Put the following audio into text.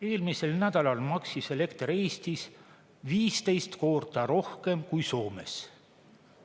Eelmisel nädalal maksis elekter Eestis 15 korda rohkem kui Soomes.